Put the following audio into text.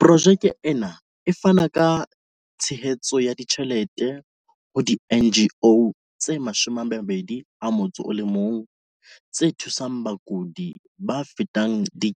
Projeke ena e fana ka tshehetso ya ditjhelete ho di-NGO tse 21 tse thusang bakudi ba fetang 3